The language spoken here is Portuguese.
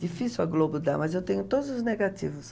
Difícil a Globo dar, mas eu tenho todos os negativos.